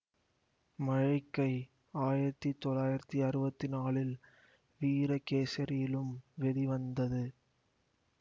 மழைக்கை ஆயிரத்தி தொள்ளாயிரத்தி அறுவத்தி நாலில் வீரகேசரியிலும் வெளிவந்தது